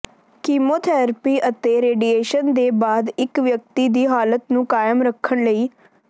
chemotherapy ਅਤੇ radiation ਦੇ ਬਾਅਦ ਇੱਕ ਵਿਅਕਤੀ ਦੀ ਹਾਲਤ ਨੂੰ ਕਾਇਮ ਰੱਖਣ ਲਈ